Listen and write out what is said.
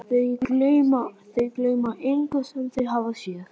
Þau gleyma engu sem þau hafa séð.